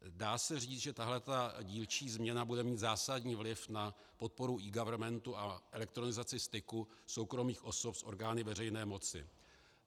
Dá se říct, že tahle dílčí změna bude mít zásadní vliv na podporu eGovernmentu a elektronizaci styku soukromých osob s orgány veřejné moci.